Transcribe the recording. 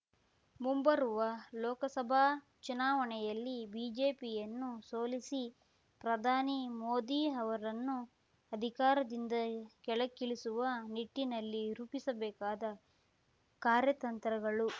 ಮುಂಬರುವ ಲೋಕಸಭಾ ಚುನಾವಣೆಯಲ್ಲಿ ಬಿಜೆಪಿಯನ್ನು ಸೋಲಿಸಿ ಪ್ರಧಾನಿ ಮೋದಿ ಅವರನ್ನು ಅಧಿಕಾರದಿಂದ ಕೆಳಗಿಳಿಸುವ ನಿಟ್ಟಿನಲ್ಲಿ ರೂಪಿಸಬೇಕಾದ ಕಾರ್ಯತಂತ್ರಗಳು